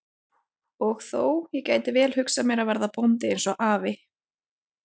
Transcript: Og þó, ég gæti vel hugsað mér að verða bóndi eins og afi.